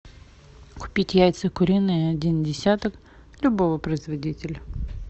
купить яйца куриные один десяток любого производителя